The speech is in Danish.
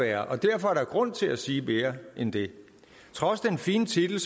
være og derfor er der grund til at sige mere end det trods den fine titel